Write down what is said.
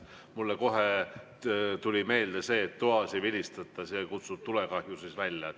Mulle kohe tuli meelde see, et toas ei vilistata, see kutsub tulekahju välja.